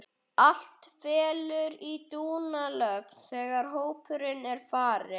Allt fellur í dúnalogn þegar hópurinn er farinn.